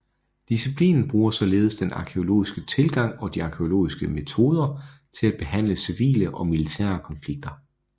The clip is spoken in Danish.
Disciplinen bruger således den arkæologiske tilgang og de arkæologiske metoder til at behandle civile og militære konflikter